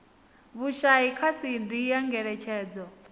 vhushai kha cd ya ngeletshedzo